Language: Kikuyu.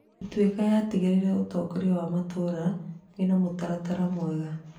Ituika yatigĩrĩire ũtongoria wa matũũra wena mũtaratara mwega.